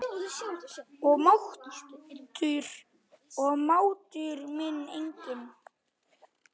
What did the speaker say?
Og máttur minn einnig.